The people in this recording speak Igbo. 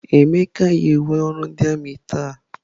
Emeka yi uwe ọrụ ndị armiị ya taa?